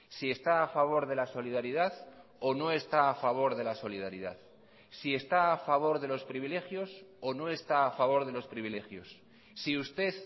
si está a favor de la solidaridad o no está a favor de la solidaridad si está a favor de los privilegios o no está a favor de los privilegios si usted